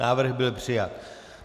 Návrh byl přijat.